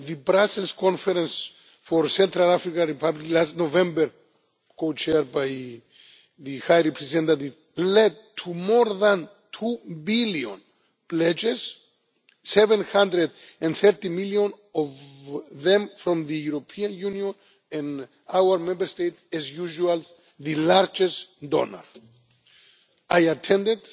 the Brussels Conference for the Central African Republic last November, co chaired by the High Representative, led to more than 2 billion pledges, 750 million of them from the European Union, and our Member States are as usual the largest donors. I attended